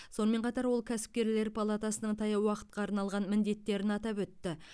сонымен қатар ол кәсіпкерлер палатасының таяу уақытқа арналған міедеттерін атап өтті